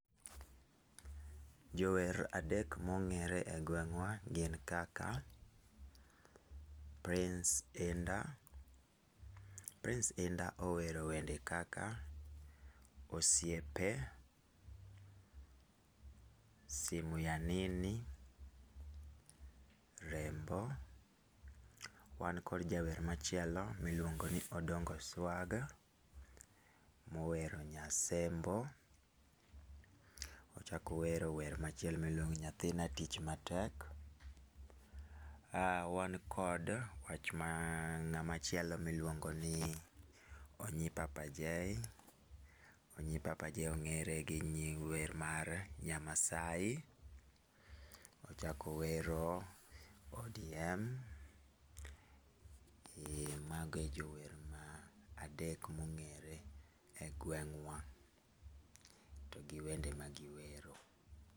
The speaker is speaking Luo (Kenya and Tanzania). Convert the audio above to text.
Jower adek ma ongére e gweng'wa gin kaka Prince Indah. Prince Indah owero wende kaka osiepe, simu ya nini, rembo. Wan kod jawer machielo, ma iluongoni Odongo Swag, mowero nyasembo, ochak owero wer machielo miluongo ni nyathina tich matek. Wan kod wach ma, ngá machielo miluongoni Onyi Papa J. Onyi Papa J ongére gi wer mar, Nyamaasai, ochak owero ODM. Ee mago e jower ma adek mongére e gweng'wa, to gi wende ma giwero.